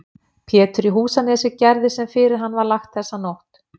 Pétur í Húsanesi gerði sem fyrir hann var lagt þessa nótt.